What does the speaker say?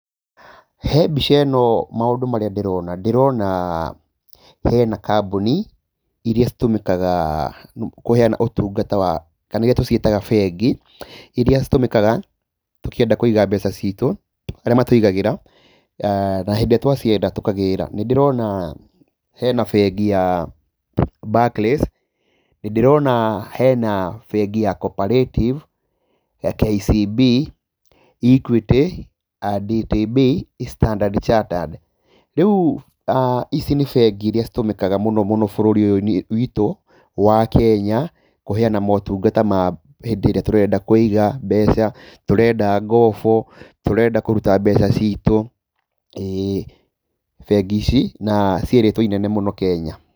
He mbica ĩno maũndũ marĩa ndĩrona ndĩrona hena kambuni iria citũmĩkaga kũheana utungata wa kana iria tũciĩtaga bengi, iria citũmĩkaga tũkĩenda kũiga mbeca citũ arĩa matũigagĩra, na hĩndĩ ĩrĩa twacienda tũkagĩra. Nĩ ndĩrona hena bengi ya Barclays nĩ ndĩrona hena bengi y CO-Operative, KCB, Equity, DTB , Starndard Chattered. Rĩu ici nĩ bengi iria citũmĩkaga mũno gũkũ bũrũri-inĩ ũyũ witũ wa Kenya kũheana motungata hĩndĩ ĩrĩa tũrenda kuiga mbeca tũrenda ngobo, tũrenda kũruta mbeca citũ, ĩĩ bengi ici na ci rĩtwa ainene mũno Kenya.